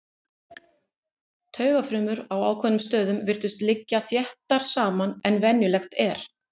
Taugafrumur á ákveðnum stöðum virtust líka liggja þéttar saman en venjulegt er.